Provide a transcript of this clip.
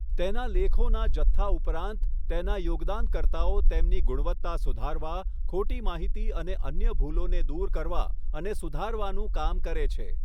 તેના લેખોના જથ્થા ઉપરાંત, તેના યોગદાનકર્તાઓ તેમની ગુણવત્તા સુધારવા, ખોટી માહિતી અને અન્ય ભૂલોને દૂર કરવા અને સુધારવાનું કામ કરે છે.